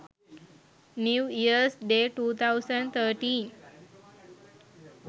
new years day 2013